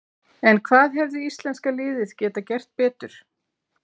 En hvað hefði íslenska liðið geta gert betur?